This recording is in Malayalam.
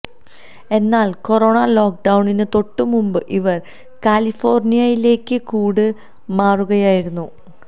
എന്നാൽ കൊറോണ ലോക്ക്ഡൌണിന് തൊട്ട് മുമ്പ് ഇവർ കാലിഫോർണിയയിലേക്ക് കൂട് മാറുകയായിരുന്നു